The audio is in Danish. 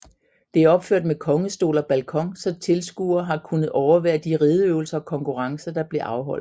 Det er opført med kongestol og balkon så tilskuerede har kunnet overvære de rideøvelser og konkurrencer der blev afholdt